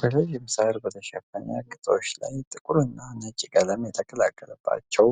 በረዥም ሳር በተሸፈነ ግጦሽ ላይ ጥቁርና ነጭ ቀለም የተቀላቀለባቸው